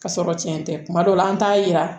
Ka sɔrɔ cɛn tɛ kuma dɔw la an t'a yira